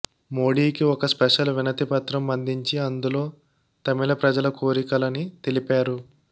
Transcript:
మోడీ కి ఒక స్పెషల్ వినతిపత్రం అందించి అందులో తమిళ ప్రజల కోరికలని తెలిపారు